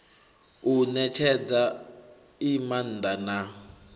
u netshedza i maanda na